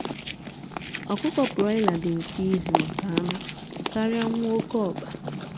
ọkụkọ broiler dị mfe izu maka anụ karịa nwa oké ọkpa